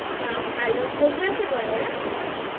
তা ভালো কোন ক্লাসে পড়ে ওরা?